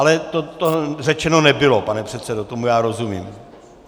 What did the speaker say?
Ale to řečeno nebylo, pane předsedo, tomu já rozumím.